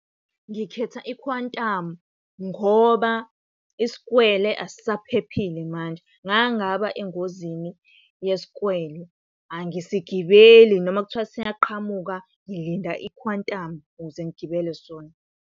Ngikhetha ikhwantamu ngoba isikwele asisaphephile manje. Ngake ngaba engozini yesikwele, angisigibele noma kuthiwa siyaqhamuka ngilinda ikhwantamu ukuze ngigibele sona.